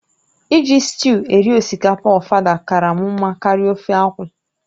Iji sịtịụ eri osikapa ofada kara m mma karịa ofe akwụ